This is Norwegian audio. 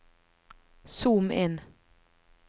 zoom inn